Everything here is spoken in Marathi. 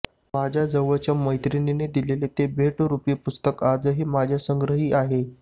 माझ्या जवळच्या मैत्रिणीनं दिलेलं ते भेटरुपी पुस्तक आजही माझ्या संग्रही आहे